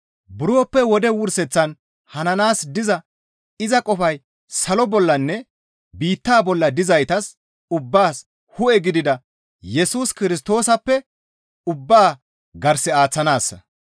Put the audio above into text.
Buroppe wode wurseththan hananaas diza iza qofay salo bollanne biitta bolla dizaytas ubbaas hu7e gidida Yesus Kirstoosappe ubbaa gars aaththanaassa.